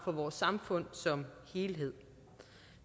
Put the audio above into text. for vores samfund som helhed